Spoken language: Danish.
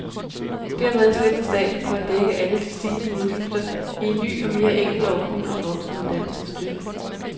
Dermed slipper staten for at dække alle de stigende udgifter i en ny og mere enkel ordning om voksenuddannelsesstøtte.